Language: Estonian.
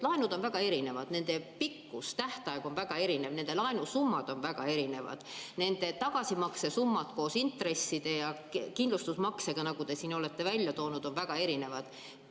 Laenud on väga erinevad, nende pikkus, tähtaeg on väga erinev, nende laenusummad on väga erinevad, nende tagasimakse summad koos intresside ja kindlustusmaksega, nagu te siin olete isegi öelnud, on väga erinevad.